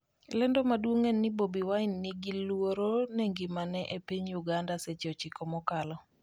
lendo maduong' en ni Bobi Wine 'ni gi luoro ne ngimane' e piny Uganda seche 9 mokalo